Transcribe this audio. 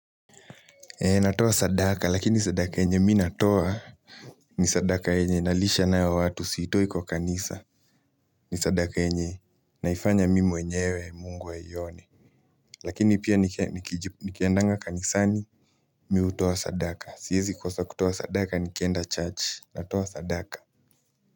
Eee natoa sadaka lakini sadaka yenye mi natoa ni sadaka yenye nalisha nayo watu siitoi kwa kanisa ni sadaka yenye naifanya mi mwenyewe mungu aione. Lakini pia nikiendanga kanisani mi hutoa sadaka siezi kosa kutoa sadaka nikienda church natoa sadaka.